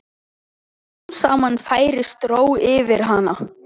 Smám saman færist ró yfir hana.